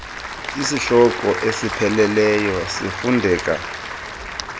isihloko esipheleleyo sifundeka